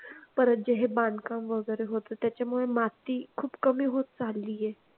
परंतु हे बांधकाम होतं होत त्याच्यामुळे माती खूप कमी होत चालली आहे.